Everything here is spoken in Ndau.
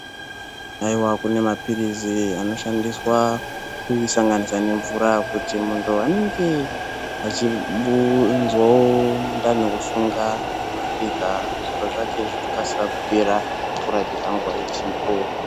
Haiwa!, kune mapilizi anoshandiswa kusanganisa nemvura kuti muntu anenge achinzwa mundani kusunga anorapika, zviro zvake zvokasika kupera, orapika nguwa ichipo.